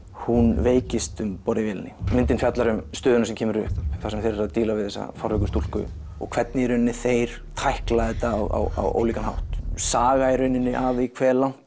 hún veikist um borð í vélinni myndin fjallar um stöðuna sem kemur upp þar sem þeir eru að díla við þessa fárveiku stúlku og hvernig í rauninni þeir tækla þetta á ólíkan hátt saga í rauninni af því hversu langt